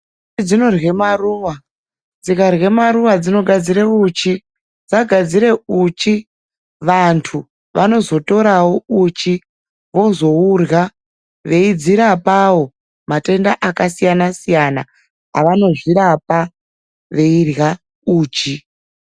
Nyuchi dzinorya maruwa, dzikarya maruwa dzinogadzira uchi. Dzagadzira uchi, vantu vanozotorawo uchi, vozourya veyi dzirapawo matenda akasiyana-siyana avanozvirapa veyirya uchi.